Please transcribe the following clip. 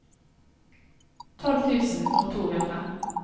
tolv tusen og to hundre